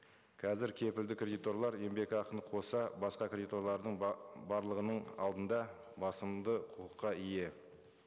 қазір кепілді кредиторлар еңбекақыны қоса басқа кредиторлардың барлығының алдында басылымды құқыққа ие